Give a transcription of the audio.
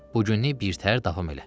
Bu günlük birtəhər davam elə.